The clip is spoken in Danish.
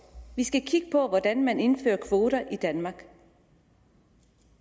vi skal kigge på hvordan man indfører kvoter i danmark